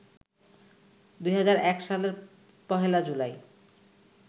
২০০১ সালের ১ জুলাই